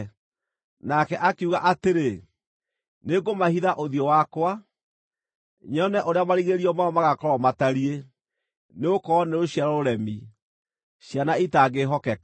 Nake akiuga atĩrĩ, “Nĩngũmahitha ũthiũ wakwa, nyone ũrĩa marigĩrĩrio mao magaakorwo matariĩ; nĩgũkorwo nĩ rũciaro rũremi, ciana itaangĩĩhokeka.